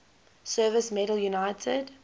service medal united